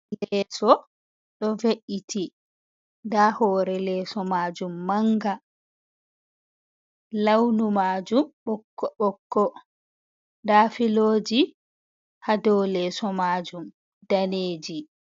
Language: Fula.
Leeso ɗo ve’iti, nda hore leeso majum manga launu majum ɓokko ɓokko nda filoji hado leso majum daneji.